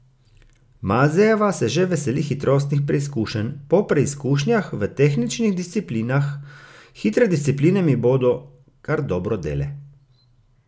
Mazejeva se že veseli hitrostnih preizkušenj, po preizkušnjah v tehničnih disciplinah: "Hitre discipline mi bodo kar dobro dele.